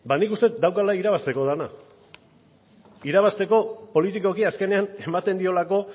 nik uste dut daukala irabazteko dena irabazteko politikoki azkenean ematen diolako